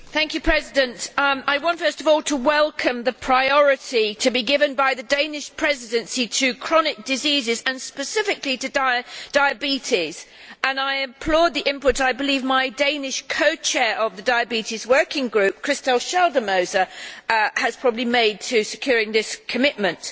Mr President, I want first of all to welcome the priority to be given by the Danish Presidency to chronic diseases and specifically to diabetes. I applaud the input I believe my Danish Co Chair of the Diabetes Working Group, Christel Schaldemose, has probably made to securing this commitment.